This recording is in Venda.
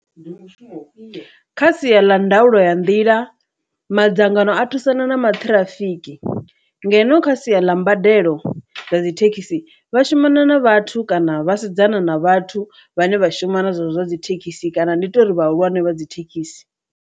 Ndi mushumo kha sia ḽa ndaulo ya nḓila madzangano a thusana na maḓi ṱhirafiki, ngeno kha sia ḽa mbadelo dza dzi thekhisi vha shumana na vhathu kana vha sedzana na vhathu vhane vha shuma na zwezwo zwa dzi thekhisi kana ndi tori vhahulwane vha dzi thekhisi.